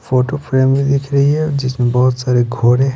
photo frame भी दिख रही है जिसमें बहुत सारे घोड़े --